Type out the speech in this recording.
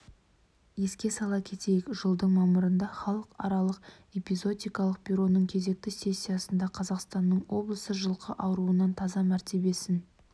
еске сала кетейік жылдың мамырында халықаралық эпизоотикалық бюроның кезекті сессиясында қазақстанның облысы жылқы ауруынан таза мәртебесін